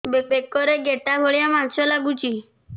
ବେକରେ ଗେଟା ଭଳିଆ ମାଂସ ଲାଗୁଚି